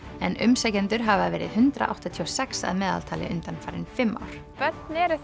en umsækjendur hafa verið hundrað áttatíu og sex að meðaltali undanfarin fimm ár börn eru